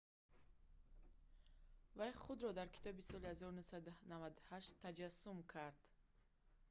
вай худро дар китоби соли 1998 таҷассум кард